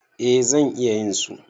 Eh zan iya yin su.